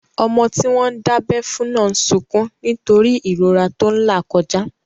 Ọmọ tí wọ́n dábẹ́ fún náà n sọkún nítorí ìrora tó n là kọjá